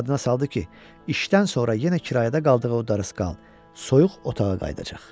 Yadına saldı ki, işdən sonra yenə kirayədə qaldığı o darısqal, soyuq otağa qayıdacaq.